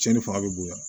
Cɛnni fanga bɛ bonya